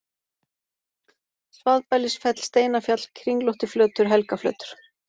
Svaðbælisfell, Steinafjall, Kringlóttiflötur, Helgaflötur